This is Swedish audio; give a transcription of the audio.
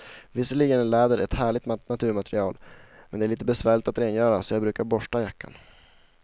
Visserligen är läder ett härligt naturmaterial, men det är lite besvärligt att rengöra, så jag brukar borsta jackan.